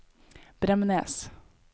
Bremnes